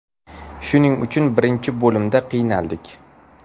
Shuning uchun birinchi bo‘limda qiynaldik.